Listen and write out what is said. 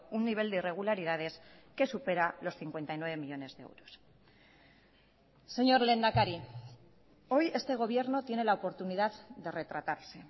un nivel de irregularidades que supera los cincuenta y nueve millónes de euros señor lehendakari hoy este gobierno tiene la oportunidad de retratarse